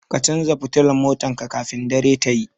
Ka canza fitila motan ka kafin dare tayi